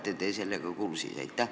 Kas te olete sellega kursis?